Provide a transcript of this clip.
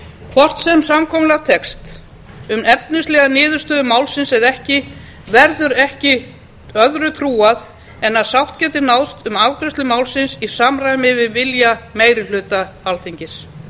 hvort sem samkomulag tekst um efnislega niðurstöðu málsins eða ekki verður ekki öðru trúað en að sátt geti náðst um afgreiðslu málsins í samræmi við vilja meiri hluta alþingis